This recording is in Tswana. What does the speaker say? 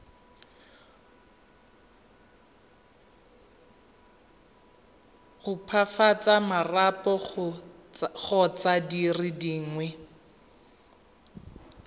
opafatsa marapo kgotsa dire dingwe